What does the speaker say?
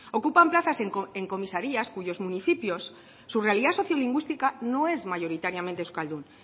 ocupan plazas en comisarías cuyos municipios su realidad sociolingüística no es mayoritariamente euskaldun